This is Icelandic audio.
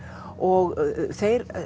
og þeir